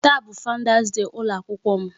Taa bụ Founders day ụlọ akwụkwọ m.